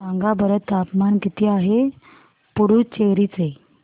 सांगा बरं तापमान किती आहे पुडुचेरी चे